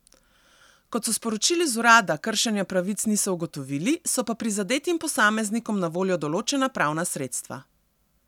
Kot so sporočili z urada, kršenja pravic niso ugotovili, so pa prizadetim posameznikom na voljo določena pravna sredstva.